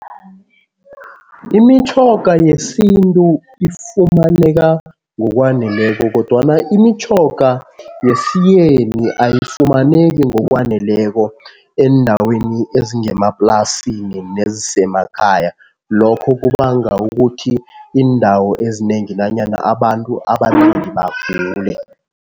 Imitjhoga yesintu ifumaneka ngokwaneleko kodwana imitjhoga yesiyeni ayifumaneki ngokwaneleko eendaweni ezingemaplasini nezisemakhaya. Lokho kubanga ukuthi iindawo ezinengi nanyana abantu abanengi bagule.